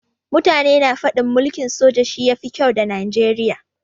Mutane na faɗin mulkin soja shi ya fi kyau da Najeriya.